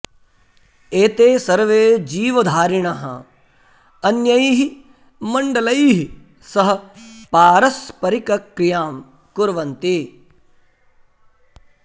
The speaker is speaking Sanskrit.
एते सर्वे जीवधारिणः अन्यैः मण्डलैः सह पारस्परिकक्रियां कुर्वन्ति